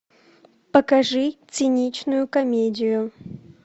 покажи циничную комедию